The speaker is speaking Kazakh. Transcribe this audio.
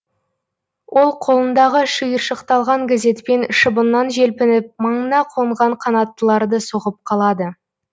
ол қолындағы шиыршықталған газетпен шыбыннан желпініп маңына қонған қанаттыларды соғып қалады